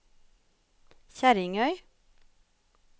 Kjerringøy